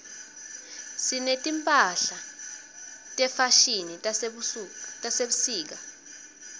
sineti mphahla tefashini tasebusika